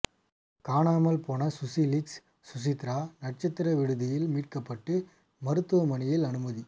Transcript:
காணாமல் போன சுசி லீக்ஸ் சுசித்ரா நட்சத்திர விடுதியில் மீட்கப்பட்டு மருத்துவமனையில் அனுமதி